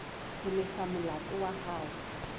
ho lefa molato wa hao